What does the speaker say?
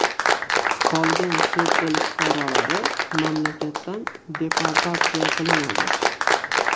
Qolgan chet el fuqarolari mamlakatdan deportatsiya qilinadi.